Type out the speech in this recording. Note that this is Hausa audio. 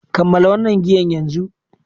Kammala wannan giyan yanzu!